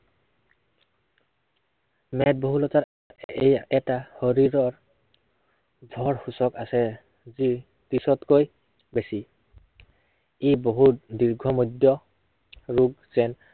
মেদবহুলতাত এই এটা শৰীৰৰ ভৰ সূচক আছে, যি ত্ৰিশতকৈ বেছি। ই বহুত দীৰ্ঘমদ্য়, আৰু যেন